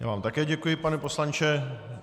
Já vám také děkuji, pane poslanče.